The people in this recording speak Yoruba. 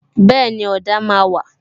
Bẹẹni, ọ̀dà máa wà